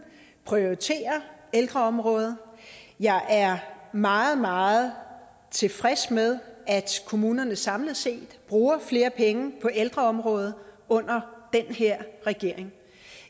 prioriterer ældreområdet jeg er meget meget tilfreds med at kommunerne samlet set bruger flere penge på ældreområdet under den her regering